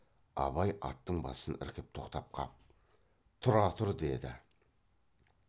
абай аттың басын іркіп тоқтап қап тұра тұр деді